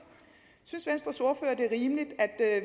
synes venstres ordfører at det er rimeligt at